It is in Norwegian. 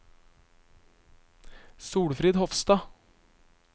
Solfrid Hofstad